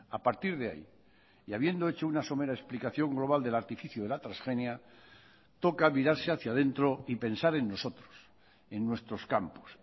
a partir de ahí y habiendo hecho una somera explicación global del artificio de la transgenia toca mirarse hacia adentro y pensar en nosotros en nuestros campos